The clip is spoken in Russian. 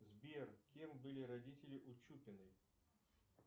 сбер кем были родители у чупиной